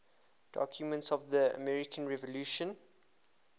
documents of the american revolution